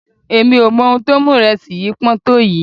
Èmi ò mọ ohun tó mú ìrẹsì yìí pọ́n tó yìí.